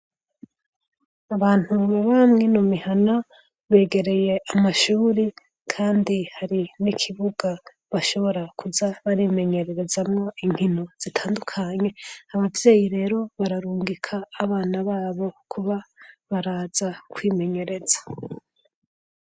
Abantu baba mw' ino mihana begereye amashuri kandi hari n'ikibuga bashobora kuza barimenyererezamwo inkino zitandukanye abavyeyi rero bararungika abana babo kuba baraza kwimenyereza.